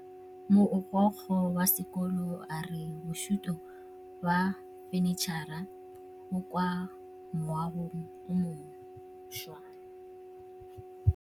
Mogokgo wa sekolo a re bosutô ba fanitšhara bo kwa moagong o mošwa.